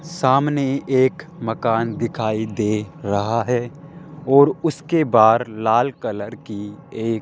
सामने एक मकान दिखाई दे रहा है और उसके बाहर लाल कलर की एक --